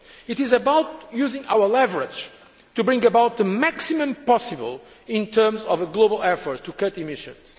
It is about using our leverage to bring about the maximum possible in terms of a global effort to cut emissions.